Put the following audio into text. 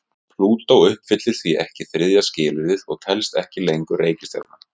Plútó uppfyllir því ekki þriðja skilyrðið og telst ekki lengur reikistjarna.